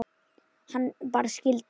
Hann bara skildi mig.